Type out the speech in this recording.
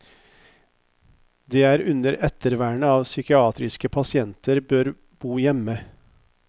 Det er under ettervernet at psykiatriske pasienter bør bo hjemme.